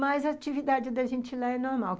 Mas a atividade da gente lá é normal.